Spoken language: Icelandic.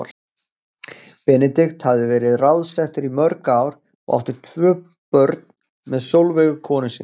Benedikt hafði verið ráðsettur í mörg ár og átti tvö börn með Sólveigu konu sinni.